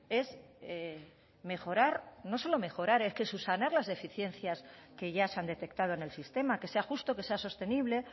es mejorar no solo mejorar es que subsanar las deficiencias que ya se han detectado en el sistema que sea justo que sea sostenible